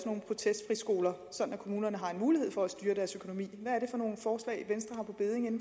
nogle protestfriskoler så kommunerne har en mulighed for at styre deres økonomi hvad er det for nogle forslag venstre